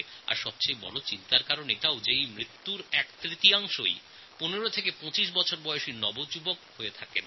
আর সবথেকে বড় চিন্তার কথা এই যে এই সমস্ত মৃত মানুষদের একতৃতীয়াংশই ১৫ থেকে ২৫ বছর বয়সী নওজওয়ান